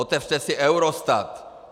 Otevřete si Eurostat!